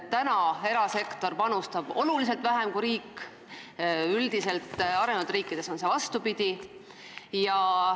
Täna panustab erasektor oluliselt vähem kui riik, üldiselt on see arenenud riikides vastupidi.